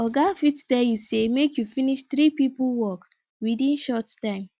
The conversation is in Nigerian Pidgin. oga fit tell you say make you finish three pipo work within short time